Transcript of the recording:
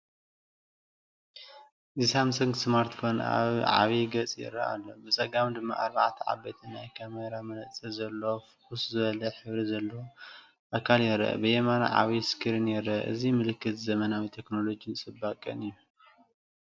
እዚ ሳምሰንግ ስማርትፎን ኣብ ዓቢ ገጽ ይረአ ኣሎ። ብጸጋም ድማ ኣርባዕተ ዓበይቲ ናይ ካሜራ መነጽራት ዘለዎ ፍኹስ ዝበለ ሕብሪ ዘለዎ ኣካል ይርአ። ብየማን፡ ዓቢ ስክሪን ይርአ። እዚ ምልክት ዘመናዊ ቴክኖሎጅን ጽባቐን እዩ።